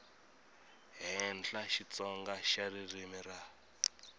henhla xitsonga xa ririmi ra